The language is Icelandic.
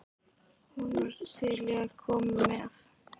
Hún var til í að koma með.